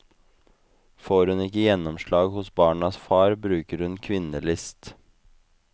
Får hun ikke gjennomslag hos barnas far, bruker hun kvinnelist.